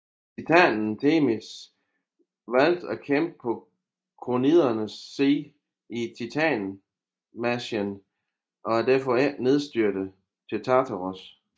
Titanen Themis valgte at kæmpe på Kronidernes side i titanomachien og er derfor ikke nedstyrtet til Tartaros